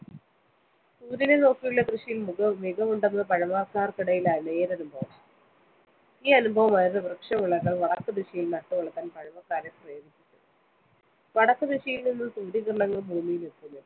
സൂര്യനെ നോക്കിയുള്ള കൃഷിയില്‍ മികവുണ്ടെന്നത് പഴമക്കാര്‍ക്കിടയിലെ അനേകം അനുഭവം. ഈ അനുഭവമായിരുന്നു വൃക്ഷവിളകള്‍ വടക്കുദിശയില്‍ നട്ടു വളര്‍ത്താന്‍ പഴമക്കാരെ പ്രേരിപ്പിച്ചത്. വടക്കുദിശയില്‍ നിന്നും സൂര്യകിരണങ്ങള്‍ ഭൂമിയിൽ എത്തു .